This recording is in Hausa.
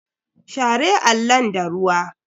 Share allon da ruwa.